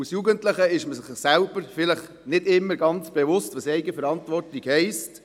Als Jugendlicher ist man sich nicht immer bewusst, was Eigenverantwortung heisst.